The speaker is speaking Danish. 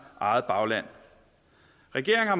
eget bagland regeringen har